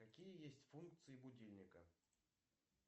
какие есть функции будильника